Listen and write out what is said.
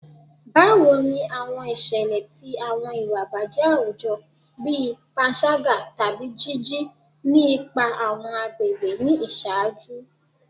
Bawo ni awọn iṣẹlẹ ti awọn iwa ibajẹ awujọ bii panṣaga tabi jiji ni ipa awọn agbegbe ni iṣaaju?